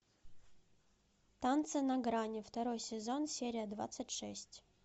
танцы на грани второй сезон серия двадцать шесть